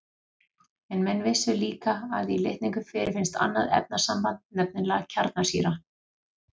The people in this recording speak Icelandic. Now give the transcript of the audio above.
En menn vissu líka að í litningum fyrirfinnst annað efnasamband, nefnilega kjarnsýra.